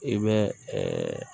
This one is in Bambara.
I bɛ